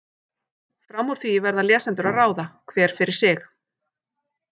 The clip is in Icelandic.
Fram úr því verða lesendur að ráða, hver fyrir sig.